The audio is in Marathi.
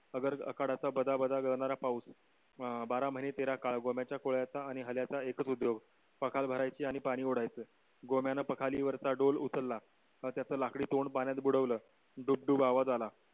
अगर आखाद्याचा बादा बादा गरणारा पाऊस अं बार महीने तेरा काळ गमीच्या खोलीयाचा आणि हल्याचा एकच उद्योग पाखाल भरायचीआणि पानी ओडायच गोंम्यान पाखाळी वरचा डोल उचलला त्याच लखडी तोंड पाण्यात बुडवल डुग डुग आवाज आला